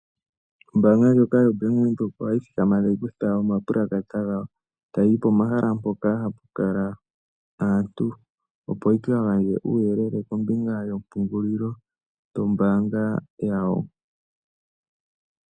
Ombaanga ndjoka yoBank Windhoek ohayi thikama e tayi kutha omapulakata gayo tayi ti pomahala mpoka hapu kala aantu, opo yi ka gandje uuyelele kombinga yompungulilo yombaanga yawo.